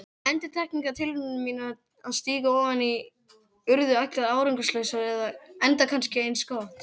Endurteknar tilraunir mínar til að stíga ofan í urðu allar árangurslausar, enda kannski eins gott.